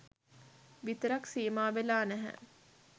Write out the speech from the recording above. විතරක් සීමාවෙලා නැහැ.